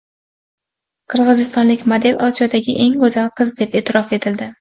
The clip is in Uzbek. Qirg‘izistonlik model Osiyodagi eng go‘zal qiz deb e’tirof etildi.